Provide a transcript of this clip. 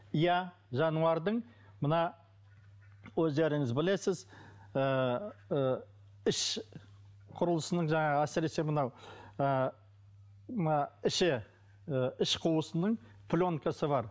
иә жануардың мына өздеріңіз білесіз ыыы іш құрлысының жаңағы әсіресе мынау ы мына іші ы іш құрылысының пленкасы бар